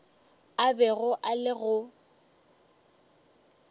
a bego a le go